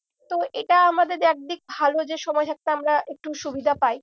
তো এটা আমাদের একদিক ভালো যে সময় থাকতে আমরা একটু সুবিধা পাই।